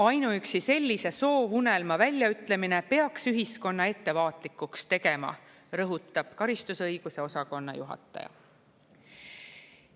Ainuüksi sellise soovunelma väljaütlemine peaks ühiskonna ettevaatlikuks tegema, rõhutab karistusõiguse osakonna juhataja.